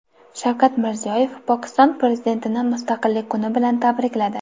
Shavkat Mirziyoyev Pokiston prezidentini Mustaqillik kuni bilan tabrikladi.